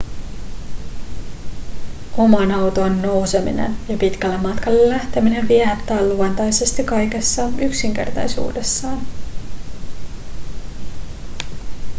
omaan autoon nouseminen ja pitkälle matkalle lähteminen viehättää luontaisesti kaikessa yksinkertaisuudessaan